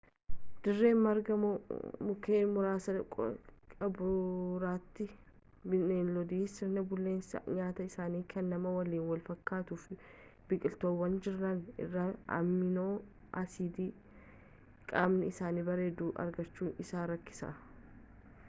dirree margaa mukeen muraasa qaburratti bineeldota sirni bulleessa nyaataa isaanii kan namaa waliin walfakkaatuuf biqiltuuwwan jiran irraa amiinoo-asiidii qaamni isaanii barbaadu argachuun isaan rakkisa